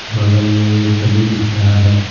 बगल में एक गली दिख रहा है।